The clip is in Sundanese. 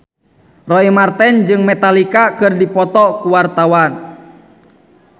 Roy Marten jeung Metallica keur dipoto ku wartawan